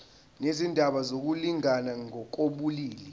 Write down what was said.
nezindaba zokulingana ngokobulili